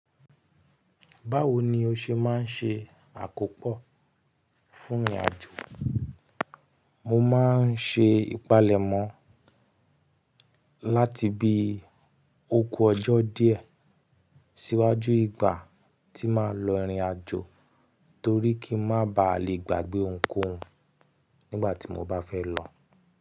Báwo ni o ṣe máa ń ṣe àkópọ̀ fún ìrìnàjò? Mo máa ń ṣe ìpalẹ̀mọ́ láti bi ó kú ọjọ́ díẹ̀ síwájú ìgbà tí màá lọ ìrìnàjò torí kí n má baà lè gbàgbé ohunkóhun nígbà tí mo bá fẹ́ lọ.